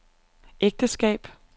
ægteskab